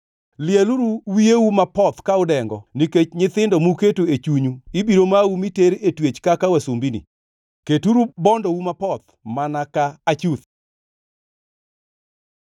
Lieluru wiyeu mapoth ka udengo nikech nyithindo muketo e chunyu ibiro mau miter e twech kaka wasumbini; keturu bondou mapoth mana ka achuth.